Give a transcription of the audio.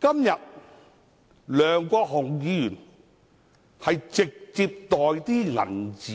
今天，梁國雄議員涉嫌直接收受金錢的